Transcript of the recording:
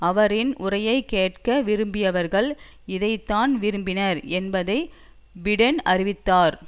அவரின் உரையை கேட்க விரும்பியவர்கள் இதைத்தான் விரும்பினர் என்பதை பிடென் அறிந்திருந்தார்